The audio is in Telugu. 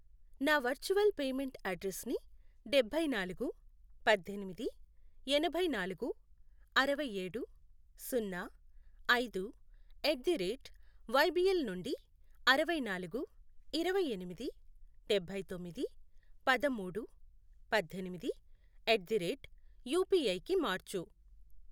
నా వర్చువల్ పేమెంట్ అడ్రెస్సుని డబ్బై నాలుగు, పద్దెనిమిది, ఎనభై నాలుగు, అరవై ఏడు, సున్నా, ఐదు, ఎట్ ది రేట్ వైబీఎల్ నుండి అరవై నాలుగు, ఇరవై ఎనిమిది, డబ్బై తొమ్మిది, పదమూడు, పద్దెనిమిది, ఎట్ ది రేట్ యుపిఐకి మార్చు.